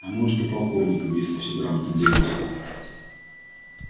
а может и полковником если все грамотно делать